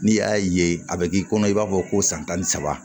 N'i y'a ye a bɛ k'i kɔnɔ i b'a fɔ ko san tan ni saba